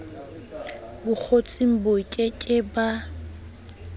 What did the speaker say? bokgotsing ba ke ke ba